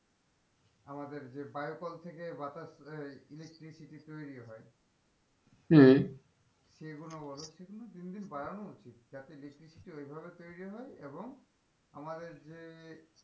আমাদের যে বায়ুকল থেকে বাতাস ধরে যে electricity তৈরি হয় হম সেগুলো বলো সেগুলো দিন দিন বাড়ানো উচিত যাতে electricity ওই ভাবে তৈরি হয় এবং আমাদের যে,